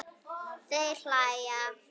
Þær hlæja.